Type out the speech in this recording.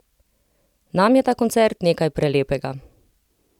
Nam je ta koncert nekaj prelepega!